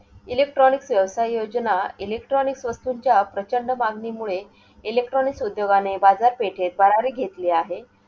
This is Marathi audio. Electronics व्ययवसाय योजना electronics वस्तूंच्या प्रचंड मागणीमुळे electronics उद्योगाने बाजारपेठेत भरारी घेतले आहे.